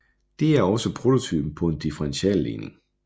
Det er også prototypen på en differentialligning